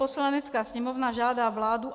Poslanecká sněmovna žádá vládu,